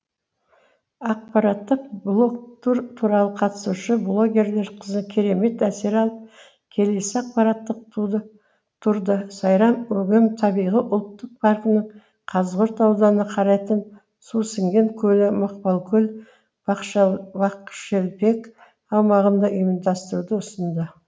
ақпараттық блогтур туралы қатысушы блогерлер керемет әсер алып келесі ақпараттық турды сайрам өгем табиғи ұлттық паркінің қазығұрт ауданына қарайтын сусіңген көлі мақпалкөл бақшелпек аумағында ұйымдастыруды ұсынды